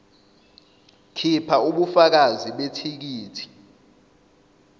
khipha ubufakazi bethikithi